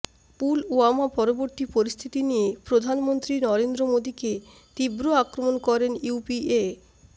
পুলওয়ামা পরবর্তী পরিস্থিতি নিয়ে প্রধানমন্ত্রী নরেন্দ্র মোদীকে তীব্র আক্রমণ করেন ইউপিএ